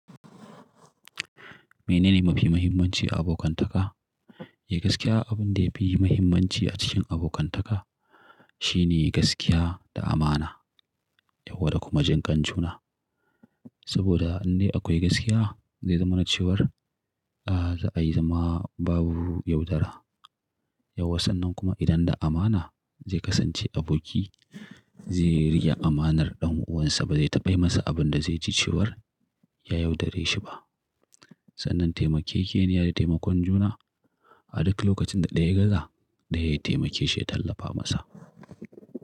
Menene mafi muhimmanci a abokantaka? Eh gaskiya abin da yafi muhimmanci a cikin abokantaka shine gaskiya da amana, yawwa da kuma jin ƙan juna. Saboda inda akwai gaskiya zai zama na cewar, ah za a yi zama babu yaudara. Yawwa sannan kuma idan da amana zai kasance aboki zai rike amanar dan uwansa ba zai taɓa yi masa abin da zai ci cewar ya yaudare shi ba. Sanan taimakekeniya da taimakon juna a duka lokacin da daya gaza daya ya taimake shi ya tallafa masa.